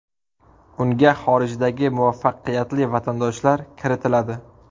Unga xorijdagi muvaffaqiyatli vatandoshlar kiritiladi.